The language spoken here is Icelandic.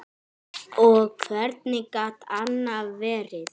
Og hvernig gat annað verið?